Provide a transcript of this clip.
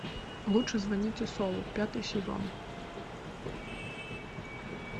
лучше звоните солу пятый сезон